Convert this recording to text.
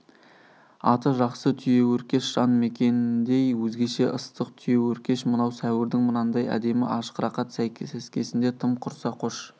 аты жақсы түйеөркеш жан мекеніндей өзгеше ыстық түйеөркеш мынау сәуірдің мынандай әдемі ашық рақат сәскесінде тым құрса қош